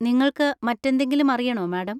നിങ്ങൾക്ക് മറ്റെന്തെങ്കിലും അറിയണോ, മാഡം?